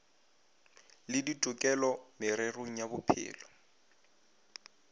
le ditokelo mererong ya bophelo